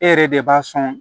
E yɛrɛ de b'a sɔn